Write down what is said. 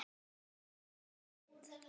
Og hún er hrædd.